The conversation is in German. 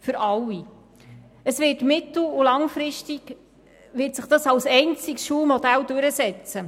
Sie werden sich mittel- und langfristig als einziges Schulmodell durchsetzen.